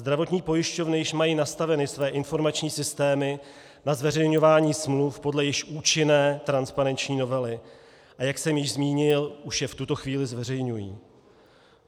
Zdravotní pojišťovny již mají nastaveny své informační systémy na zveřejňování smluv podle již účinné transparenční novely, a jak jsem již zmínil, už je v tuto chvíli zveřejňují.